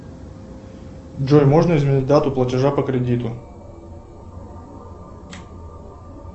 джой можно изменить дату платежа по кредиту